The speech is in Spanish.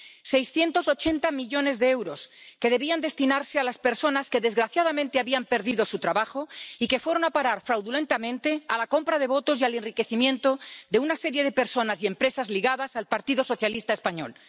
Seiscientos ochenta millones de euros, que debían destinarse a las personas que, desgraciadamente, habían perdido su trabajo, fueron a parar, fraudulentamente, a la compra de votos y al enriquecimiento de una serie de personas y empresas ligadas al Partido Socialista español.